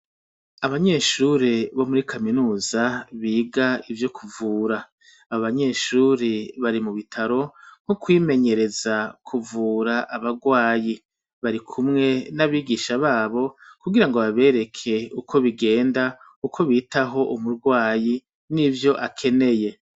Abanyeshure bo muri kaminuza biga ivyo kuvura abo banyeshure bari mubitaro nko kwimenyereza kuvura abarwayi barikumwe nabigisha babo kugira bareke uko bigenda ngo biteho umurwayi nivyo akeneye ..